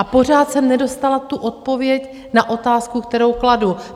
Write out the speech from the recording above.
A pořád jsem nedostala tu odpověď na otázku, kterou kladu.